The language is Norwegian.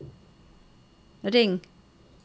ring